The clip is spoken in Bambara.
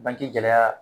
Bange gɛlɛya